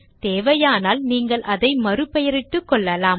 தேவையானால் நீங்கள் அதை மறு பெயரிட்டுக்கொள்ளலாம்